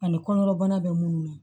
Ani kɔnɔna bana bɛ munnu na